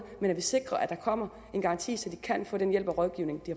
men sikre at der kommer en garanti så de kan få den hjælp og rådgivning